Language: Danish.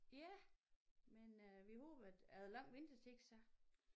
Ja men øh vi håber at er der lang ventetid så?